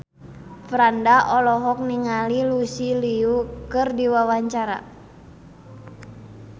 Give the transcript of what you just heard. Franda olohok ningali Lucy Liu keur diwawancara